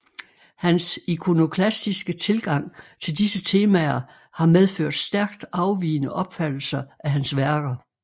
Hans ikonoklastiske tilgang til disse temaer har medført stærkt afvigende opfattelser af hans værker